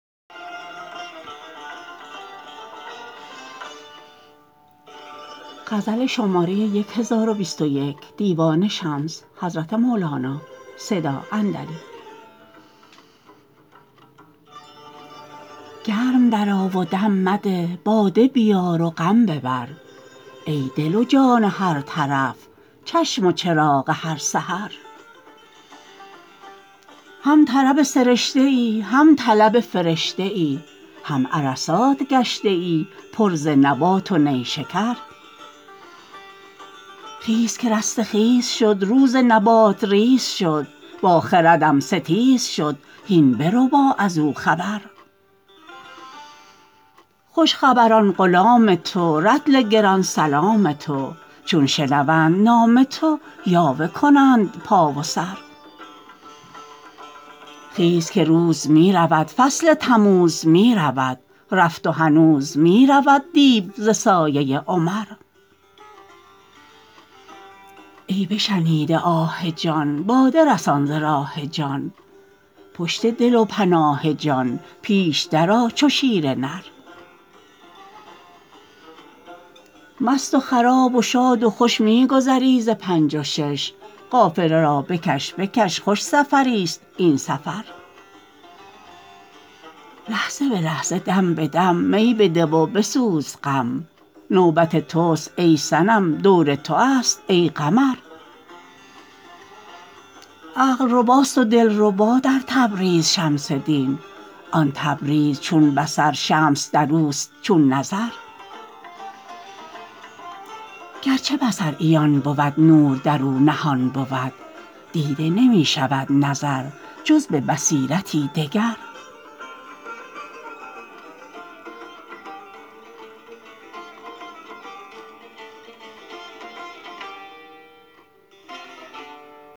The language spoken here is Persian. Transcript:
گرم درآ و دم مده باده بیار و غم ببر ای دل و جان هر طرف چشم و چراغ هر سحر هم طرب سرشته ای هم طلب فرشته ای هم عرصات گشته ای پر ز نبات و نیشکر خیز که رسته خیز شد روز نبات ریز شد با خردم ستیز شد هین بربا از او خبر خوش خبران غلام تو رطل گران سلام تو چون شنوند نام تو یاوه کنند پا و سر خیز که روز می رود فصل تموز می رود رفت و هنوز می رود دیو ز سایه عمر ای بشنیده آه جان باده رسان ز راه جان پشت دل و پناه جان پیش درآ چو شیر نر مست و خراب و شاد و خوش می گذری ز پنج و شش قافله را بکش بکش خوش سفریست این سفر لحظه به لحظه دم به دم می بده و بسوز غم نوبت تست ای صنم دوره ی توست ای قمر عقل رباست و دلربا در تبریز شمس دین آن تبریز چون بصر شمس در اوست چون نظر گرچه بصر عیان بود نور در او نهان بود دیده نمی شود نظر جز به بصیرتی دگر